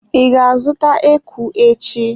I ga-azụta eku echi.